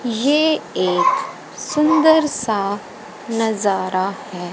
ये एक सुंदर सा नजारा है।